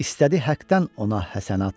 İstədi həqdən ona həsənat.